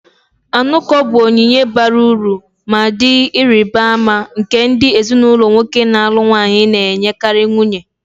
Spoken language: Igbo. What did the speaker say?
Anuko bụ onyinye bara uru ma dị ịrịba ama, nke ndị ezinụlọ nwoke na-alụ nwanyi na-enyekarị nwunye.